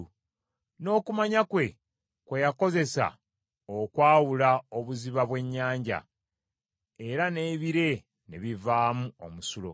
n’okumanya kwe, kwe yakozesa okwawula obuziba bw’ennyanja, era n’ebire ne bivaamu omusulo.